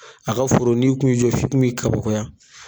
A ka foro ni kun y'i jɔ f'i kun bi kabakoya